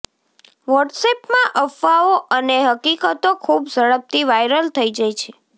વોટ્સએપમાં અફવાઓ અને હકીકતો ખુબ ઝડપથી વાઇરલ થઇ જાય છે